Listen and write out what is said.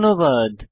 ধন্যবাদ